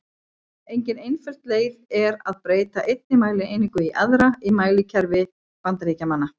Engin einföld leið er að breyta einni mælieiningu í aðra í mælikerfi Bandaríkjamanna.